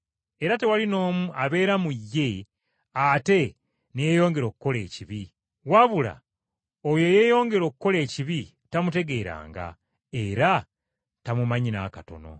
Era tewali n’omu abeera mu ye ate ne yeeyongera okukola ekibi. Wabula oyo eyeeyongera okukola ekibi tamutegeeranga, era tamumanyi n’akatono.